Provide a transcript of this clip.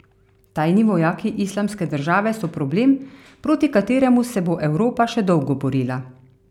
Tajni vojaki Islamske države so problem, proti kateremu se bo Evropa še dolgo borila.